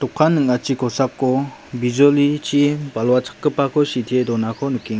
ning·achi kosako bijolichi balwa chakgipako sitee donako nikenga.